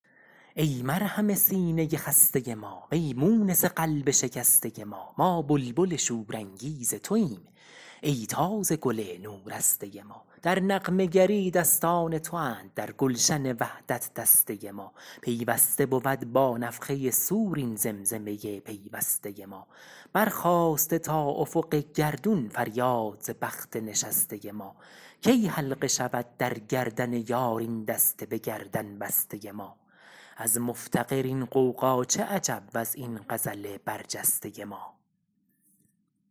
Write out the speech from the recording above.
ای مرهم سینۀ خستۀ ما وی مونس قلب شکستۀ ما ما بلبل شورانگیز توایم ای تازه گل نو رستۀ ما در نغمه گری دستان تواند در گلشن وحدت دستۀ ما پیوسته بود با نفخۀ صور این زمزمۀ پیوستۀ ما برخاسته تا افق گردون فریاد ز بخت نشستۀ ما کی حلقه شود در گردن یار این دست بگردن بستۀ ما از مفتقر این غوغا چه عجب وز این غزل برجستۀ ما